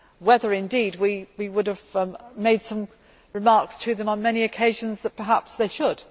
whether, indeed, we would have made some remarks to them on many occasions that perhaps they should.